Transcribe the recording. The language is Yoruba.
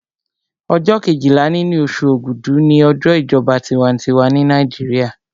Ọjọ́ kejìlá nínú oṣù ògúdù ni ọjọ́ ìjọba tinwatinwa ní Nàìjíríà